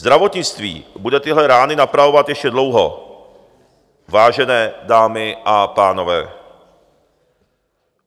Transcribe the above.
Zdravotnictví bude tyhle rány napravovat ještě dlouho, vážené dámy a pánové.